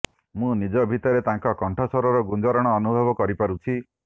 ମୁଁ ନିଜ ଭିତରେ ତାଙ୍କ କଣ୍ଠସ୍ୱରର ଗୁଞ୍ଜରଣ ଅନୁଭବ କରିପାରୁଛି